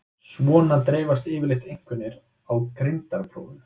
Svona dreifast yfirleitt einkunnir á greindarprófum.